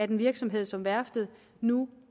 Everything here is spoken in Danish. en virksomhed som værftet nu